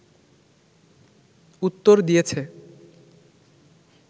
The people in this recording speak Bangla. উত্তর দিয়েছে